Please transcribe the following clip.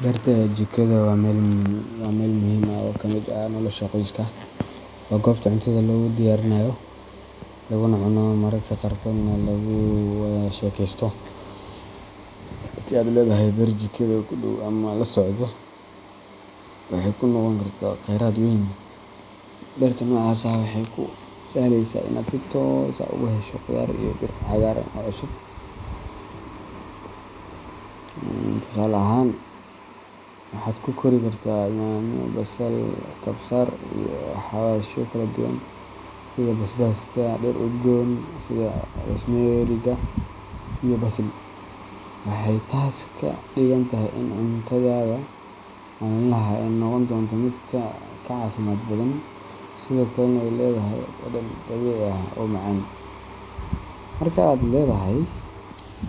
Beerta jikada waa meel muhiim ah oo ka mid ah nolosha qoyska. Waa goobta cuntada lagu diyaariyo, laguna cuno, mararka qaarkoodna lagu wada sheekaysto. Haddii aad leedahay beer jikada ku dhow ama la socda, waxay kuu noqon kartaa kheyraad weyn. Beerta noocaas ah waxay kuu sahleysaa inaad si toos ah uga hesho khudaar iyo dhir cagaaran oo cusub. Tusaale ahaan, waxaad ku kori kartaa yaanyo, basal, kabsar, iyo xawaashyo kala duwan sida basbaaska, dhir udgoon sida rosemeriga iyo basil. Waxay taas ka dhigan tahay in cuntadaada maalinlaha ah ay noqon doonto mid ka caafimaad badan, sidoo kalena ay leedahay dhadhan dabiici ah oo macaan. Marka aad leedahay